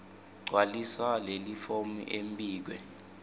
gcwalisa lelifomu embikwe